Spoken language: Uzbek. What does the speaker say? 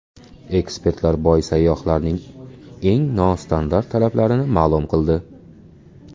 Ekspertlar boy sayyohlarning eng nostandart talablarini ma’lum qildi.